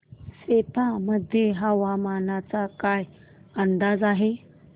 सेप्पा मध्ये हवामानाचा काय अंदाज आहे